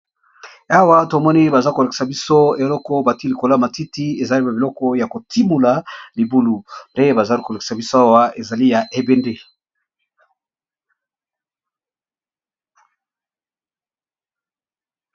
awa tomoni baza kolekisa biso eloko bati likola matiti ezali ma biloko ya kotimula libulu nde bazali kolekisa biso awa ezali ya ebd